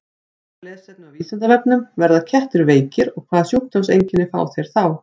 Frekara lesefni á Vísindavefnum: Verða kettir veikir og hvaða sjúkdómseinkenni fá þeir þá?